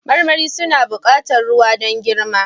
Marmari suna buƙatar ruwa don girma